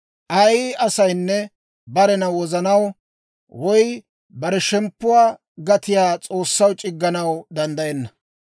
Ay asaynne barena wozanaw, woy bare shemppuwaa gatiyaa S'oossaw c'igganaw danddayenna.